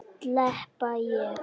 Slepp ég?